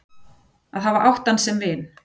Að hafa átt hann sem vin.